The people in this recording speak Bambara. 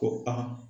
Ko aa